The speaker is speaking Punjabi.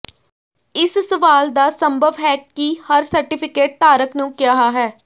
ਇਸ ਸਵਾਲ ਦਾ ਸੰਭਵ ਹੈ ਕਿ ਹਰ ਸਰਟੀਫਿਕੇਟ ਧਾਰਕ ਨੂੰ ਕਿਹਾ ਹੈ